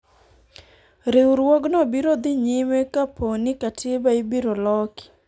riwruogno biro dhi nyime kapo ni katiba ibiro loki